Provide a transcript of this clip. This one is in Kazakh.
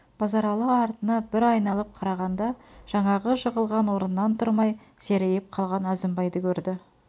базаралы артына бір айналып қарағанда жаңағы жығылған орнынан тұрмай серейіп қалған әзімбайды көрді